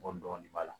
Bɔ dɔɔni b'a la